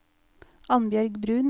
Annbjørg Bruun